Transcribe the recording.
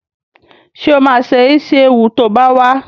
Sọ ma se Ísíéwu to bá wá?